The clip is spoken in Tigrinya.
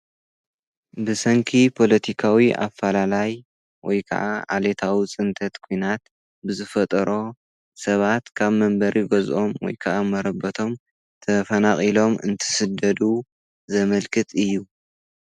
ብሰንኪ ፖሎቲካዊ ኣፈላላይ ወይከዓ ዓሌታዊ ፅንተት ኲናት ብዝፈጠሮ ሰባት ካብ መንበሪ ገዝኦም ወይ ከዓ መረበቶም ተፈናቒሎም እንትስደዱ ዘመልክት እዩ፡፡